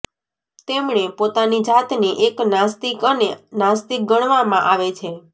તેમણે પોતાની જાતને એક નાસ્તિક અને નાસ્તિક ગણવામાં આવે છે